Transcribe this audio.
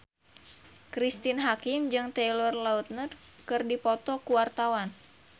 Cristine Hakim jeung Taylor Lautner keur dipoto ku wartawan